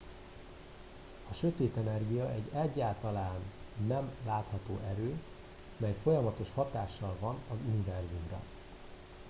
a sötét energia egy egyáltalán nem látható erő mely folyamatos hatással van az univerzumra